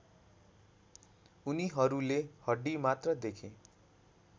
उनीहरूले हड्डीमात्र देखे